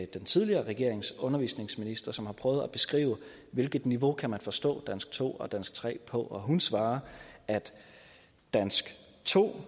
den tidligere regerings undervisningsminister som har prøvet at beskrive hvilket niveau man kan forstå dansk to og dansk tre på og hun svarer at dansk to